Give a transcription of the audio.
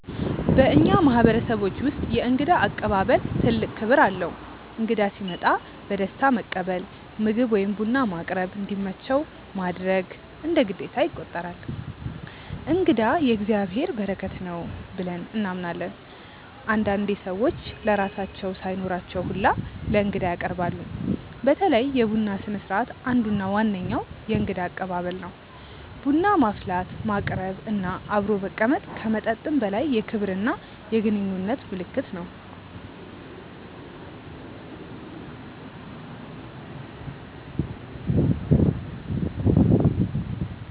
በእኛ ማህበረሰቦች ውስጥ የእንግዳ አቀባበል ትልቅ ክብር አለው። እንግዳ ሲመጣ በደስታ መቀበል፣ ምግብ ወይም ቡና ማቅረብ፣ እንዲመቸው ማድረግ እንደ ግዴታ ይቆጠራል። “እንግዳ የእግዚአብሔር በረከት ነው” ብለን እናምናለን። አንዳንዴ ሰዎች ለራሳቸው ሳይኖራቸው ሁላ ለእንግዳ ያቀርባሉ። በተለይ የቡና ስነስርዓት አንዱ እና ዋነኛው የእንግዳ አቀባበል ነው። ቡና ማፍላት፣ ማቅረብ እና አብሮ መቀመጥ ከመጠጥም በላይ የክብርና የግንኙነት ምልክት ነው።